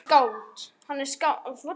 Hann er skáld.